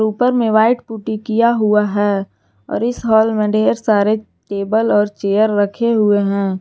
ऊपर में white putty किया हुआ है और इस हाल में ढेर सारे टेबल और चेयर रखे हुए हैं।